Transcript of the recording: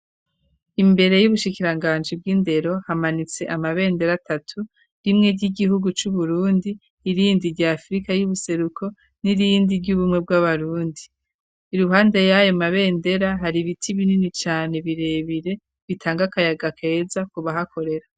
Imbere y'ubushikiranganje bw'indero, hamanitse amabendera atatu rimwe ry'igihugu cu Burundi, irindi rya Afrika y'ubuseruko, n'irindi ry'Ubumwe bw'Abarundi, iruhande y'ayo mabendera hari ibiti binini cane birebire bitanga kayaga keza kubahakorera.